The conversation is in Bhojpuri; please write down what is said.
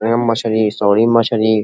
ए मछली सॉरी मछली।